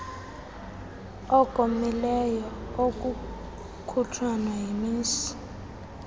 okomileyo okukhutshwa yimizi